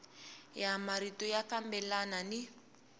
ya marito ya fambelana ni